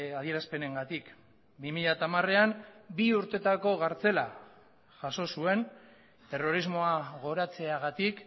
adierazpenengatik bi mila hamarean bi urteetako kartzela jaso zuen terrorismoa goratzeagatik